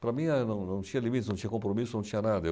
Para mim, eh, não não tinha limites, não tinha compromisso, não tinha nada.